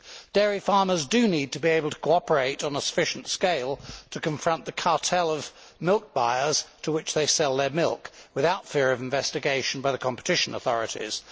Dairy farmers do need to be able to cooperate on a sufficient scale to confront the cartel of milk buyers, to which they sell their milk, without fear of investigation by the competition authorities.